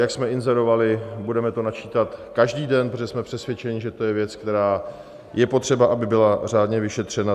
Jak jsme inzerovali, budeme to načítat každý den, protože jsme přesvědčeni, že to je věc, která je potřeba, aby byla řádně vyšetřena.